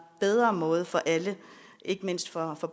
bedre måde for alle ikke mindst for